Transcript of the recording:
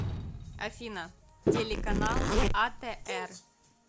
афина телеканал а тэ эр